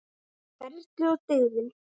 Ferlið og dygðin.